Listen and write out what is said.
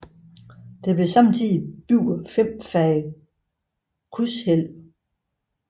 Der blev samtidigt bygget fem fag krydshvælv